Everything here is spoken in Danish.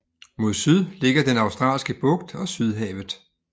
Mod syd ligger den Australske Bugt og Sydhavet